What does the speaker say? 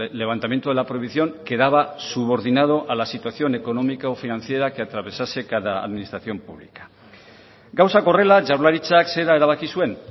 levantamiento de la prohibición quedaba subordinado a la situación económica o financiera que atravesase cada administración pública gauzak horrela jaurlaritzak zera erabaki zuen